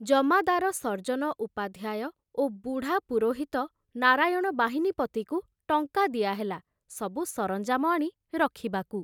ଜମାଦାର ସର୍ଜନ ଉପାଧ୍ୟାୟ ଓ ବୁଢ଼ା ପୁରୋହିତ ନାରାୟଣ ବାହିନୀପତିକୁ ଟଙ୍କା ଦିଆହେଲା ସବୁ ସରଞ୍ଜାମ ଆଣି ରଖିବାକୁ!